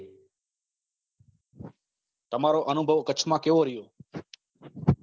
તમારો અનુભવ કચ્છમાં કેવો રહ્યો